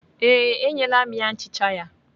Ee, enyela m ya nchicha ya.